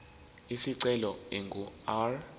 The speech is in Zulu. isicelo ingu r